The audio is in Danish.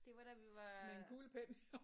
Det var da vi var øh